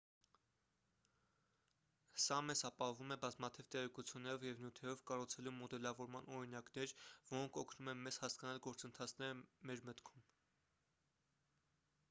սա մեզ ապահովում է բազմաթիվ տեղեկություններով և նյութերով կառուցելու մոդելավորման օրինակներ որոնք օգնում են մեզ հասկանալ գործընթացները մեր մտքում